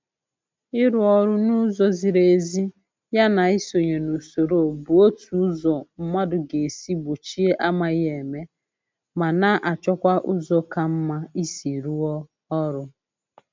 Ịrụ ọrụ n'ụzọ ziri ezi ya na isonye n'usoro bụ otu ụzọ mmadụ ga-esi gbochie amaghị eme, ma na-achọkwa ụzọ ka mma isi rụọ ọrụ